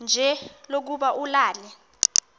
nje lokuba ulale